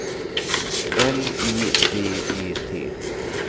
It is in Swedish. L I V E T